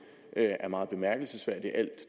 er meget bemærkelsesværdigt al